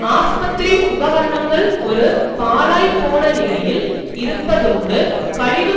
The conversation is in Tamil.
ஆஸ்பத்திரி உபகரணங்கள் ஒரு பழாய்ப்போன நிலையில் இருப்பதோடு கழிவுப்